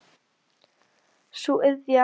Sú iðja var orðin hans helsta yndi.